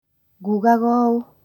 Ngugaga ũũ